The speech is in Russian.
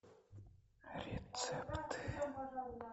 рецепты